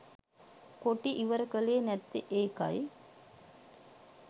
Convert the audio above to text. කොටි ඉවර කලේ නැත්තේ ඒකයි.